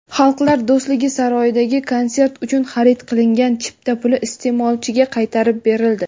"Xalqlar do‘stligi" saroyidagi konsert uchun xarid qilingan chipta puli iste’molchiga qaytarib berildi.